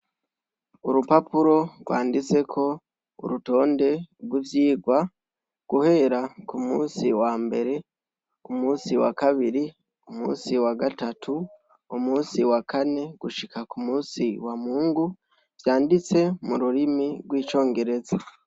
Urupapuro rwanditseko urutonde rw'ivyigwa, guhera ku musi wambere, umusi wa kabiri, umusi wa gatatu, umusi wa kane gushika ku musi wa mungu, vyanditse mu rurimi rw'icongereza.